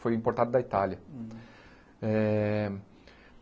Foi importado da Itália. Eh